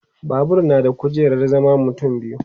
Babur na da kujerar zaman mutum biyu